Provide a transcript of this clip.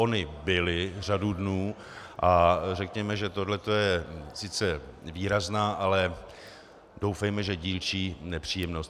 Ony byly řadu dnů a řekněme, že tohle je sice výrazná, ale doufejme, že dílčí nepříjemnost.